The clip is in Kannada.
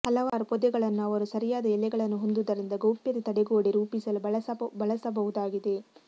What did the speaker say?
ಹಲವಾರು ಪೊದೆಗಳನ್ನು ಅವರು ಸರಿಯಾದ ಎಲೆಗಳನ್ನು ಹೊಂದುವುದರಿಂದ ಗೌಪ್ಯತೆ ತಡೆಗೋಡೆ ರೂಪಿಸಲು ಬಳಸಬಹುದಾಗಿದೆ